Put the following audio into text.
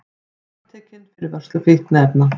Handtekinn fyrir vörslu fíkniefna